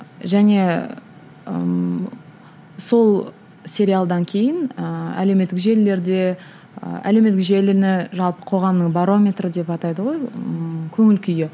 және ііі сол сериалдан кейін ііі әлеуметтік желілерде ы әлеуметтік желіні жалпы қоғамның барометрі деп атайды ғой ыыы көңіл күйі